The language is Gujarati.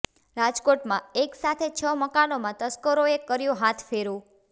રાજકોટમાં એક સાથે છ મકાનમાં તસ્કરોએ કર્યો હાથફેરો